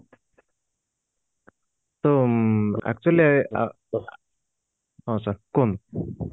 ତ actually ଆ ଆ ହଁ sir କୁହନ୍ତୁ